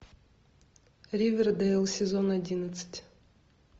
ривердейл сезон одиннадцать